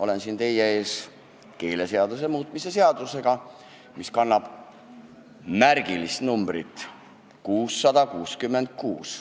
Olen siin teie ees keeleseaduse muutmise seaduse eelnõuga, mis kannab märgilist numbrit 666.